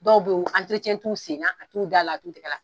Dɔw beyi t'u senna a t'u da la a t'u tɛgɛ la.